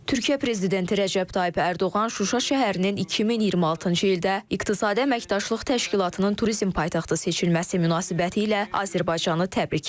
Türkiyə prezidenti Rəcəb Tayyib Ərdoğan Şuşa şəhərinin 2026-cı ildə İqtisadi Əməkdaşlıq Təşkilatının turizm paytaxtı seçilməsi münasibətilə Azərbaycanı təbrik edib.